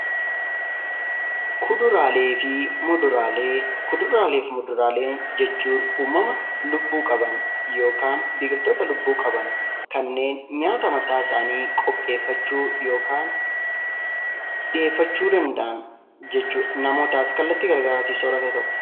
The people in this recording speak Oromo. Kuduraalee fi Muduraalee Kuduraalee fi muduraalee jechuun uumama lubbuu qaban (biqiltoota lubbuu qaban) kanneen nyaata mataa isaanii qopheeffachuu yookaan dhiyeeffachuu danda'an jechuu dha. Namootaaf kallattii garaagaraatiin soorata ta'u.